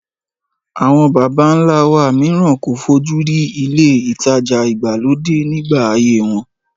Àwọn bàbá ńlá wa mìíràn kò fojú rí ilé ìtajà ìgbàlódé nígbà ayé wọn